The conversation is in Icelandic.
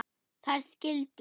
Þær skildu.